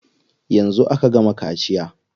Yanzu aka gama kaciya.